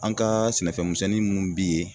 An kaa sɛnɛfɛn misɛnnin munnu bi ye